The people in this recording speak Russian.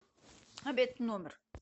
обед в номер